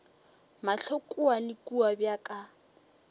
mahlo kua le kua bjaka